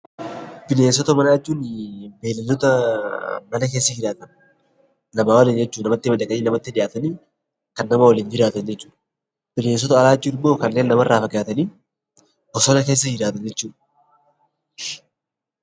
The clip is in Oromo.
Bineensota manaa jechuun beeyladoota mana keessa jiraatan namaa waliin jechuu dha. Namatti madaqanii, namatti dhiyaatanii, kan nama waliin jiraatan jechuu dha. Bineensota alaa jechuun immoo kanneen namarraa fagaatanii bosona keessa jiraatan jechuu dha.